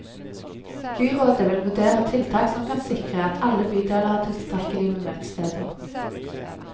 Byrådet vil vurdere tiltak som kan sikre at alle bydeler har tilstrekkelig med møtesteder.